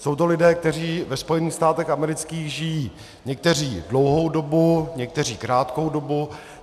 Jsou to lidé, kteří ve Spojených státech amerických žijí někteří dlouhou dobu, někteří krátkou dobu.